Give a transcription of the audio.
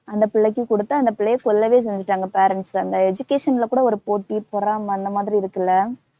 அந்தப் பிள்ளைக்கு கொடுத்து அந்தப் பிள்ளையை சொல்லவே செஞ்சுட்டாங்க parents அந்த education ல கூட ஒரு போட்டி பொறாமை அந்த மாதிரி இருக்குல்ல.